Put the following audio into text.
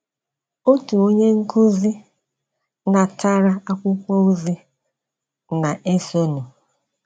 Otu onye nkúzị natara akwụkwọ ozi na - esonụ: